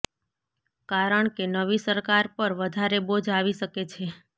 કારણ કે નવી સરકાર પર વધારે બોજ આવી શકે છે